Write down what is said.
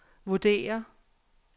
vurderer